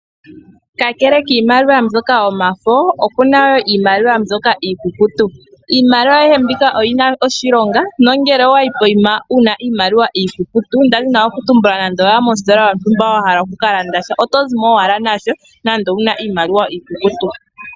Kakele kiimaliwa mbyoka yomafo, oku na wo iimaliwa mbyoka iikukutu. Iimaliwa ayihe mbika oyi na oshilonga, nongele owa yi poyima wu na iimaliwa iikukutu nda dhini oku tumbula nande owa ya mositola yontumba wa hala oku ka landa sha, oto zimo owala nasho, nande owu na iimaliwa iikukutu.